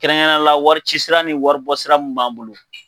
Kɛrɛnkɛrɛnnenya la waricisira ni waribɔsira mun b'an bolo.